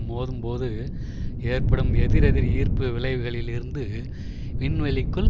மோதும் போது ஏற்படும் எதிரெதிர் ஈர்ப்பு விளைவுகளில் இருந்து விண்வெளிக்குள்